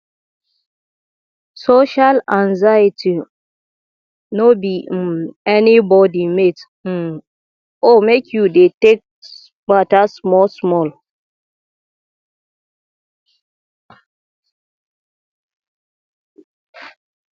social anxiety no be um anybodi mate um o make you dey take mata smallsmall